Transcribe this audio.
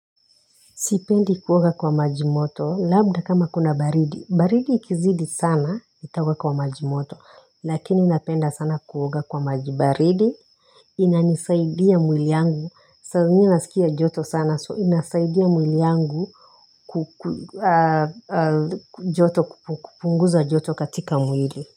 Sipendi kuoga kwa maji moto. Labda kama kuna baridi. Baridi ikizidi sana nitaoga kwa maji moto. Lakini napenda sana kuoga kwa maji baridi. Inanisaidia mwili yangu. Saa zingine nasikia joto sana so inasaidia mwili yangu kupunguza joto katika mwili.